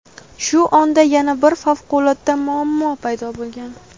Shu onda yana bir favqulodda muammo paydo bo‘lgan.